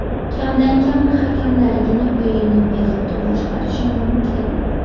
Kamdan-kam hakamlargina o‘yinni bexato boshqarishi mumkin.